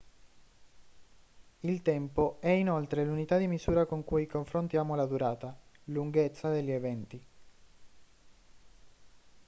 il tempo è inoltre l'unità di misura con cui confrontiamo la durata lunghezza degli eventi